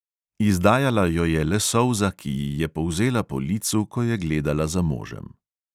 Izdajala jo je le solza, ki ji je polzela po licu, ko je gledala za možem.